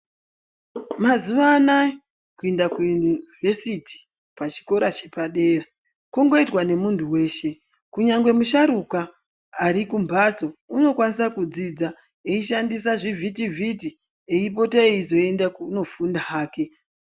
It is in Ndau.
Mazuva anaya kuenda kuyunivhesiti pachikora chepadera kungoitwa ngemuntu veshe. Kunyange musharuka arikumhatso unokwanisa kudzidza achishandisa zvivhitivhiti eipote eizoende kunofunda hake.